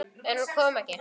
En hún kom ekki.